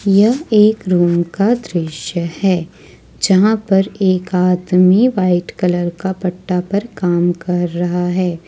यह एक रूम का दृश्य है जहां पर एक आदमी व्हाइट कलर का पत्ता पर काम कर रहा है।